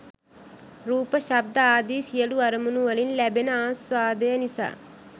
රූප ශබ්ද ආදි සියලු අරමුණුවලින් ලැබෙන ආස්වාදය නිසා